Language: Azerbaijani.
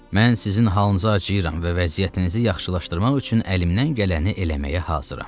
Mən sizin halınıza acıyıram və vəziyyətinizi yaxşılaşdırmaq üçün əlimdən gələni eləməyə hazıram.